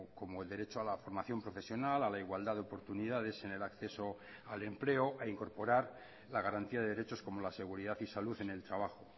como el derecho a la formación profesional a la igualdad de oportunidades en el acceso al empleo a incorporar la garantía de derechos como la seguridad y salud en el trabajo